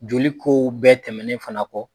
Joli kow bɛɛ tɛmɛnen fana kɔ